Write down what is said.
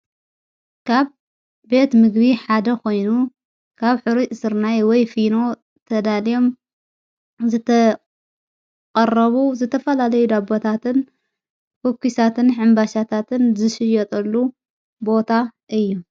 ካብ ቤት ምግቢ ሓደ ኾይኑ ካብ ኅሩጭ ሥርናይ ወይ ፊኖ ተዳልዮም ዝተቐረቡ ዝተፈላለዩ ዳቦታትን ኮኪሳትን ሕምባሻታትን ዝሽየጠሉ ቦታ እዩ::